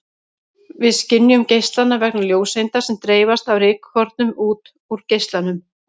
Við skynjum geislann vegna ljóseinda sem dreifast af rykkornum út úr geislanum.